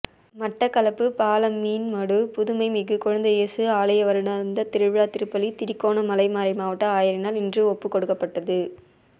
மட்டக்களப்பு பாலமீன்மடு புதுமைமிகு குழந்தை இயேசு ஆலய வருடாந்த திருவிழா திருப்பலி திருகோணமலை மறை மாவட்ட ஆயரினால் இன்று ஒப்புகொடுக்கப்பட்டது